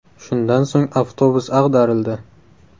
Shundan so‘ng avtobus ag‘darildi.